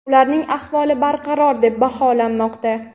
ularning ahvoli barqaror deb baholanmoqda.